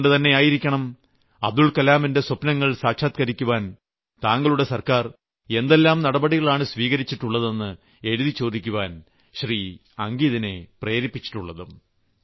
അതുകൊണ്ടുതന്നെയായിരിക്കണം അബ്ദുൽകലാമിന്റെ സ്വപ്നങ്ങൾ സാക്ഷാത്ക്കരിക്കുവാൻ താങ്കളുടെ സർക്കാർ എന്തെല്ലാം നടപടികളാണ് സ്വീകരിച്ചിട്ടുള്ളതെന്ന് എഴുതി ചോദിക്കുവാൻ ശ്രീ അംഗിതിനെ പ്രേരിപ്പിച്ചിട്ടുള്ളതും